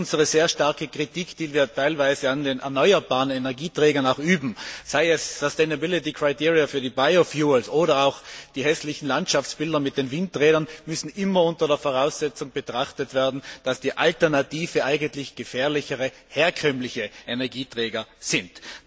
Darum unsere sehr starke Kritik, die wir teilweise an den erneuerbaren Energieträgern üben, seien es Nachhaltigkeitskriterien für die Biotreibstoffe oder auch die hässlichen Landschaftsbilder mit den Windrädern, muss immer unter der Voraussetzung betrachtet werden, dass die Alternative eigentlich gefährlichere, herkömmliche Energieträger sind.